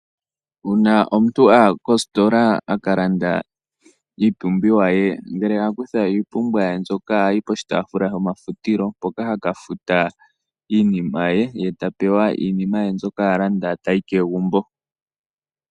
Uuna omuntu aya koositola a kalanda iipumbiwa ye ngele a kutha iimpumbiwa ye mbyoka ohayi poshitaafula shomafutilo mpoka haka futila iinima ye, ye ta pewa iinima ye mbyoka a landa eta yi kegumbo.